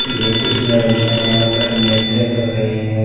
ये कुछ लड़कियाँ यहाँ पर नृत्य कर रही हैं।